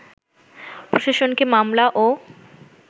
প্রশাসনকে মামলা ও